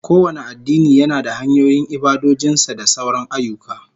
Kowane addini yana da hanyoyin ibadojin sa da sauran ayyuka